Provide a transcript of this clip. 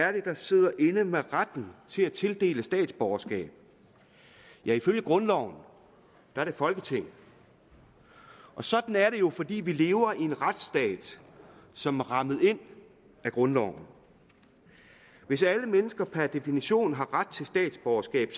er det der sidder inde med retten til at tildele statsborgerskab ifølge grundloven er det folketinget sådan er det jo fordi vi lever i en retsstat som er rammet ind af grundloven hvis alle mennesker per definition har ret til statsborgerskab